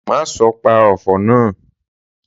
Má sọ pa ofò náà!